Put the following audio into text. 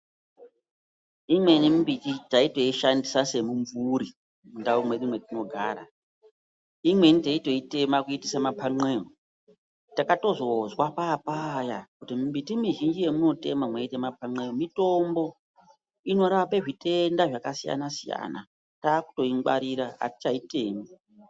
Imweni mbiti taitoshandisa semimvuri munharaunda mwedu mwetaigare, imweni taito tema kuite mapan'eya , takatozozwa paapaya kuti miti mizhinji nyamunotema mitombo, inorape zvitenda zvakasiyana-siyana. Taakuto ingwarira hatichaitemi.